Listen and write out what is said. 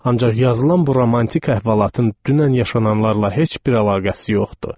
Ancaq yazılan bu romantik əhvalatın dünən yaşananlarla heç bir əlaqəsi yox idi.